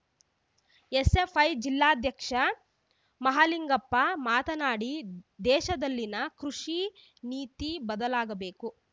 SFI ಜಿಲ್ಲಾಧ್ಯಕ್ಷ ಮಹಾಲಿಂಗಪ್ಪ ಮಾತನಾಡಿ ದೇಶದಲ್ಲಿನ ಕೃಷಿ ನೀತಿ ಬದಲಾಗಬೇಕು